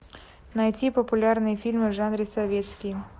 найти популярные фильмы в жанре советский